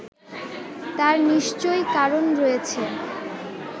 তার নিশ্চয়ই কারণ রয়েছে